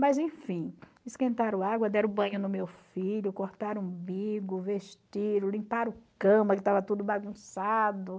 Mas, enfim, esquentaram água, deram banho no meu filho, cortaram o umbigo, vestiram, limparam cama, que estava tudo bagunçado.